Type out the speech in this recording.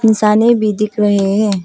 इंसानियत भी दिख रहे है।